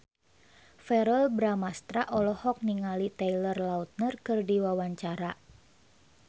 Verrell Bramastra olohok ningali Taylor Lautner keur diwawancara